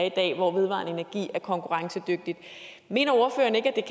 i dag hvor vedvarende energi er konkurrencedygtig mener ordføreren ikke